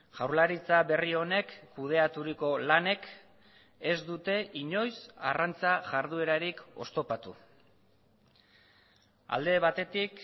jaurlaritza berri honek kudeaturiko lanek ez dute inoiz arrantza jarduerarik oztopatu alde batetik